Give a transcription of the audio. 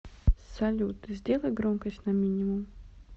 салют сделай громкость на минимум